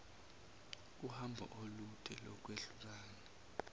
uhambo olude lokwehlukana